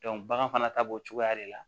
bagan fana ta b'o cogoya de la